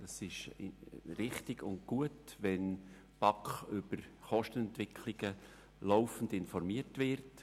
Es ist richtig und gut, wenn die BaK laufend über Kostenentwicklungen informiert wird.